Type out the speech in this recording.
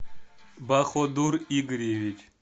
баходур игоревич